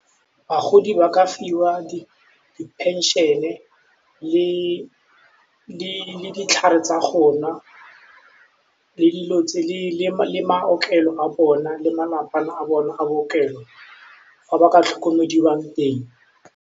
Bagodi ba ka fiwa di-pension-e le ditlhare tsa gonwa le maotlelo a bona le malapa a bona a bookelo fa ba ka tlhokomediwang teng.